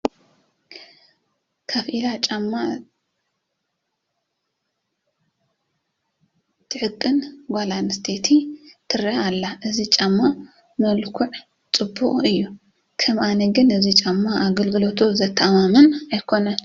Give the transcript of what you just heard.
ኮፍ ኢላ ጫማ ትዕቅን ጓል ኣነስተይቲ ትርአ ኣላ፡፡ እዚ ጫማ መልክዑ ፅቡቕ እዩ፡፡ ከም ኣነ ግን እዚ ጫማ ኣገልግሎቱ ዘተኣማምን ኣይኮነን፡፡